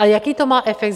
A jaký to má efekt?